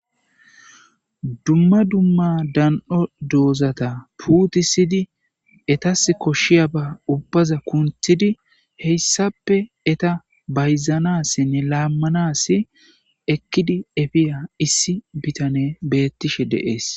Dumma dumma dan'o doozata puutisidi etas koshshiya ba ubbaza kunthidi heyssappe eta bayzanassinne laammanasi ekkidi efiya issi bitane beettishe deees.